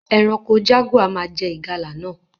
Eranko jaguar má je ìgalà náà